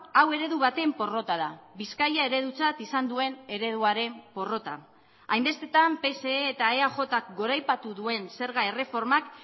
hau eredu baten porrota da bizkaia eredutzat izan duen ereduaren porrota hainbestetan pse eta eajk goraipatu duen zerga erreformak